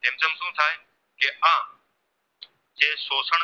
જે શોષણ